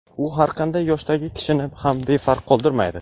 U har qanday yoshdagi kishini ham befarq qoldirmaydi.